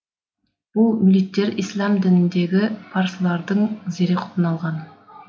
бұл мүлиттер ісләм дініндегі парсылардың зәреқұтын алған